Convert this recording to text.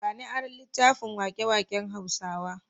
Ba ni aron littafin waƙe-waƙen Hausawa.